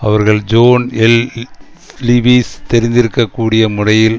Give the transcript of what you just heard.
அவர்கள் John L Lewis தெரிவித்திருக்கக் கூடிய முறையில்